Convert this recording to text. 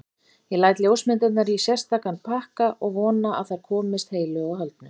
Ég læt ljósmyndirnar í sérstakan pakka og vona að þær komist heilu og höldnu.